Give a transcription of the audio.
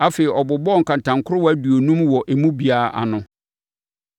Afei, ɔbobɔɔ nkantankorowa aduonum wɔ emu biara ano